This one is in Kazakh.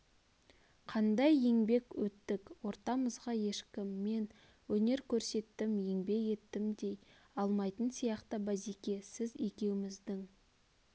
қандай еңбек еттік ортамызға ешкім мен өнер көрсеттім еңбек еттім дей алмайтын сияқты базеке сіз екеуміздің